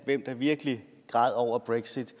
hvem der virkelig græd over brexit